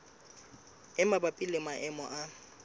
e mabapi le maemo a